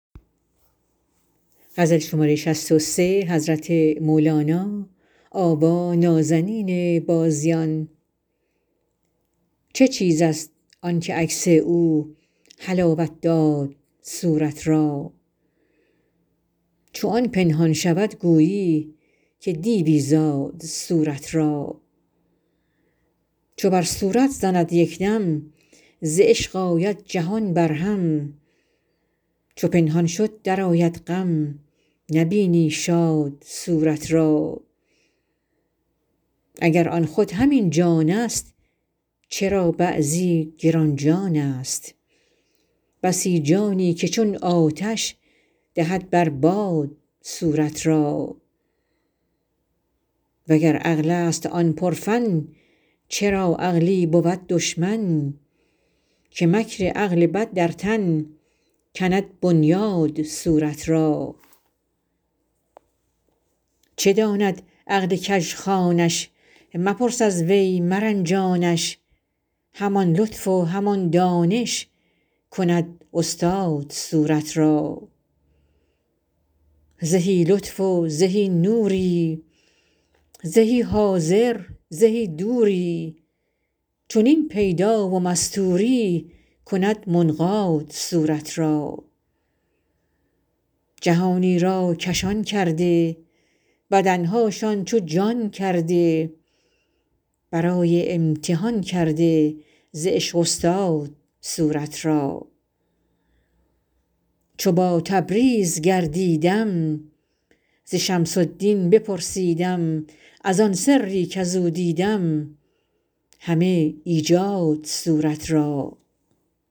چه چیزست آنک عکس او حلاوت داد صورت را چو آن پنهان شود گویی که دیوی زاد صورت را چو بر صورت زند یک دم ز عشق آید جهان برهم چو پنهان شد درآید غم نبینی شاد صورت را اگر آن خود همین جانست چرا بعضی گران جانست بسی جانی که چون آتش دهد بر باد صورت را وگر عقلست آن پرفن چرا عقلی بود دشمن که مکر عقل بد در تن کند بنیاد صورت را چه داند عقل کژخوانش مپرس از وی مرنجانش همان لطف و همان دانش کند استاد صورت را زهی لطف و زهی نوری زهی حاضر زهی دوری چنین پیدا و مستوری کند منقاد صورت را جهانی را کشان کرده بدن هاشان چو جان کرده برای امتحان کرده ز عشق استاد صورت را چو با تبریز گردیدم ز شمس الدین بپرسیدم از آن سری کز او دیدم همه ایجاد صورت را